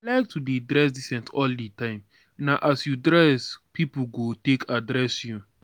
i like to dey dress decent all di time na as you dress pipu go take address you.